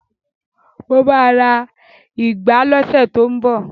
Mo ma ra ìgbá lọ́sẹ̀ tó ń bọ̀